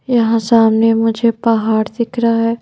यहाँ सामने मुझे पहाड़ दिख रहा है।